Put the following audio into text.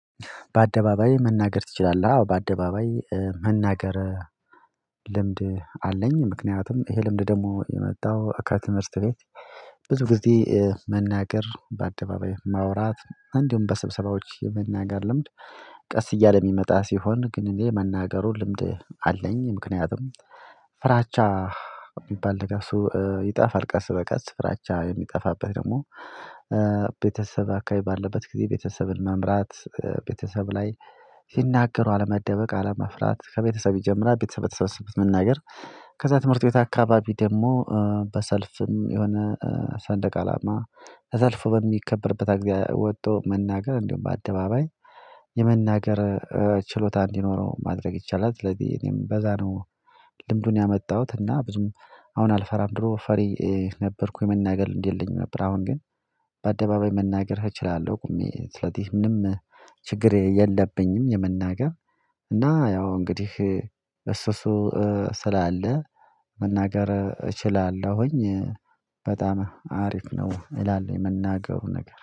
በአደባባይ መናገር ትችላለህ? አዎ በአደባባይ መናገር ልምድ አለኝ። ምክንያቱም ይሄ ልምድ ደሞ የመጣው ከትምህርት ቤት። ብዙ ጊዜ መናገር በአደባባይ ማውራት እንዲሁም በስብሰባዎች የመናገር ልምድ። ቀስ እያለ ሚመጣ ሲሆን ግን እኔ መናገሩ ልምድ አለኝ። ምክንያቱም ፍራቻ የሚባል ነገር ሰው ይጠፋል ቀስ በቀስ ፍራቻ የሚጠፋበት ደግሞ። ቤተሰብ አካባቢ ባለበት ጊዜ ቤተሰብን መምራት ቤተሰብ ላይ ሲናገሩ አለመደበቅ አለመፍራት ከቤተሰብ ይጀምራል። ቤተሰብ በተሰበሰበት መናገር። ከዛ ትምህርት ቤት አካባቢ ደግሞ በሰልፍም የሆነ ሰንደቅ አላማ ተሰልፎ በሚከበርበት አግኧ ወቶ መናገር እንዲሁም በአደባባይ የመናገር ችሎታ እንዲኖረው ማድረግ ይቻላል። ስለዚህ እኔም በዛ ነው። ልምዱን ያመጣሁት እና ብዙም አሁን አልፈራም ድሮ ፈሪ ነበርኩ የመናገር ልምድ የለኝም ነበር። አሁን ግን በአደባባይ መናገር እችላለሁ። ቆሜ ስለዚህ ምንም ችግር የለብኝም። የመናገር እና ያው እንግዲህ እሱ እሱ ስላለ መናገር እችላለሁኝ። በጣም አሪፍ ነው እላል መናገሩ ነገር